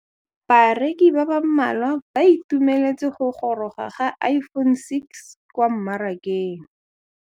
Bareki ba ba malwa ba ituemeletse go gôrôga ga Iphone6 kwa mmarakeng.